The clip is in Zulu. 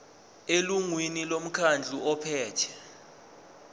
elungwini lomkhandlu ophethe